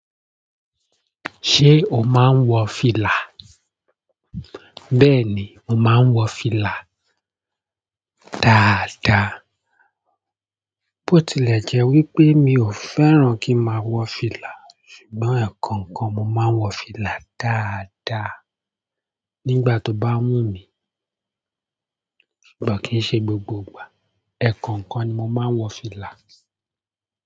Ṣé o máa ń wọ fìlà? Bẹ́ẹ̀ni mo maa n wọ fìlà dáadáa. Botilẹ jẹ wípé mi o fẹ́ràn ki n maa wọ fìlà ṣùgbọ́n ẹkọọkan mo maa n wọ fìlà dáadáa nígbà toba wumi. Kò kí ń ṣe gbogbo ìgbà, ẹ̀ẹ̀kọ̀ọ̀kan ni mo máa ń wọ fìlà.